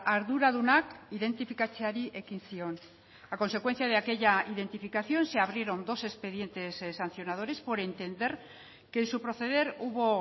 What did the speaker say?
arduradunak identifikatzeari ekin zion a consecuencia de aquella identificación se abrieron dos expedientes sancionadores por entender que en su proceder hubo